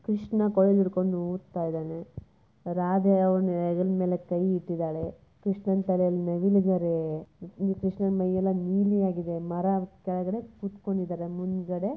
ಕೃಷ್ಣ ಕೊಡಲು ಹಿಡ್ಕೊಂಡು ಓದ್ತಾ ಇದ್ದಾನೆ ರಾಧಾಕೃಷ್ಣನ್ ಮೇಲೆ ಕೈ ಇಟ್ಟಿದ್ದಾಳೆರಾಧಾಕೃಷ್ಣನ್ ಮೇಲೆ ಕೈ ಇಟ್ಟಿದ್ದಾಳೆ ಕೃಷ್ಣ ತಲೆ ಮೇಲೆ ನವಿಲು ಪುಕ್ಕಟ್ಟಿದ್ದಾರೆ ನೀಲಿ ಬಣ್ಣ ಹಚ್ಚೋವ್ರೆ ಮರದ ಕೆಳಗಡೆ ಕೂತವ್ರೆ.